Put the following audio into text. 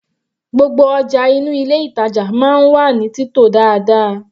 Gbogbo ọjà inú ilé ìtàjà máa ń wà ní títò dáadáa.